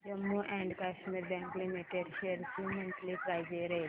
Jammu and Kashmir bank limited shares ची monthly price range